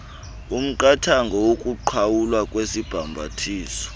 umqathango wokuqhawulwa kwesibhambathiso